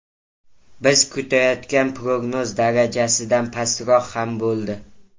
Biz kutayotgan prognoz darajasidan pastroq ham bo‘ldi.